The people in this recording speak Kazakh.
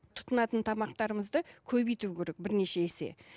тұтынатын тамақтарымызды көбейту керек бірнеше есе